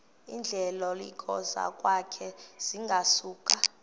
iindleko zokwakha zingasuka